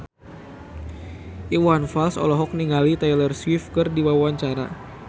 Iwan Fals olohok ningali Taylor Swift keur diwawancara